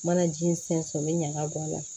Mana ji in sɛnsɛn n bɛ ɲaga bɔ a la